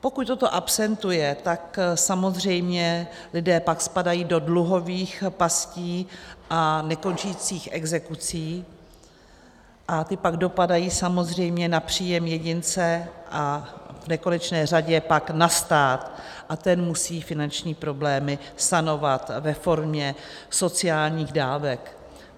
Pokud toto absentuje, tak samozřejmě lidé pak spadají do dluhových pastí a nekončících exekucí a ty pak dopadají samozřejmě na příjem jedince a v konečné řadě pak na stát a ten musí finanční problémy sanovat ve formě sociálních dávek.